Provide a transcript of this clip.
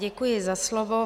Děkuji za slovo.